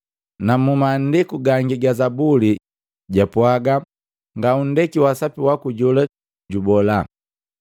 Na mu maandiku gangi ga Zabuli japwaga, “Ngaunndeki waa Sapi waku jola jubola.”